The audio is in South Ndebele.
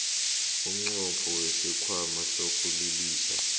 umnqopho wesikhwama sokulilisa